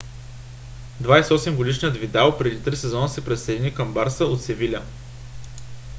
28-годишният видал преди три сезона се присъедини към барса от севиля